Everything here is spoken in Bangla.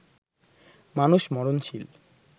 মানুষ মরণশীল